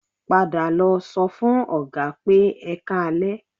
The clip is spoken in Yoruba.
Padà lọ sọ fún Ọ̀gá pé "Ẹ káalẹ́"